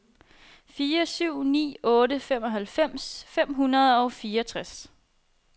fire syv ni otte femoghalvfems fem hundrede og fireogtres